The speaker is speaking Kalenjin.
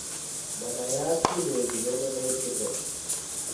Manayat kiit neibu Yellow nail syndrome